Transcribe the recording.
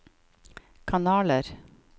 kanaler